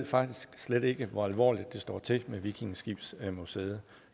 faktisk slet ikke ved hvor alvorligt det står til med vikingeskibsmuseet